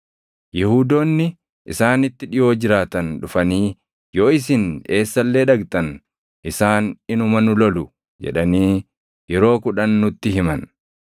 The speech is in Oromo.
Yihuudoonni isaanitti dhiʼoo jiraatan dhufanii, “Yoo isin eessa illee dhaqxan isaan inuma nu lolu” jedhanii yeroo kudhan nutti himan.